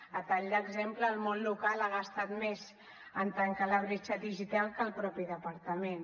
a tall d’exemple el món local ha gastat més en trencar la bretxa digital que el mateix departament